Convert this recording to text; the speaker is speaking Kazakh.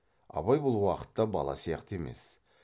абай бұл уақытта бала сияқты емес